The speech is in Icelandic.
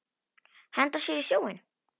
Henda sér í sjóinn?